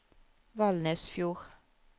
Valnesfjord